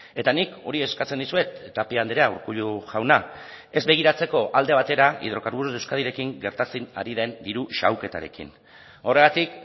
eta nik hori eskatzen dizuet tapia andrea urkullu jauna ez begiratzeko alde batera hidrocarburos de euskadirekin gertatzen ari den diru xahuketarekin horregatik